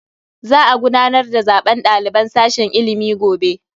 Za a gudanar da zaben daliban sashen ilimi gobe.